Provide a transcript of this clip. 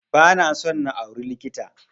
Ba na so na auri likita